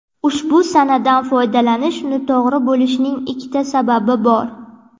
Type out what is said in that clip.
ushbu sanadan foydalanish noto‘g‘ri bo‘lishining ikkita sababi bor.